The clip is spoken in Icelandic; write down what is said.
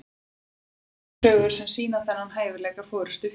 til eru margar sögur sem sýna þennan hæfileika forystufjár